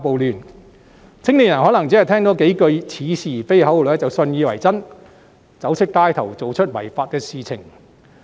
年青人可能只是聽了三數似是而非的口號便信以為真，走出街頭做出違法的事情。